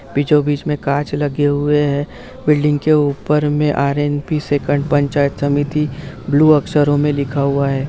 Happy जो बीच में कांच लगे हुए हैं। बिल्डिंग के ऊपर में आर.एम.पी. सेकंड पंचायत समिति ब्लू अक्षरों में लिखा हुआ है।